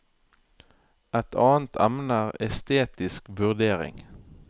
Et annet emne er estetisk vurdering.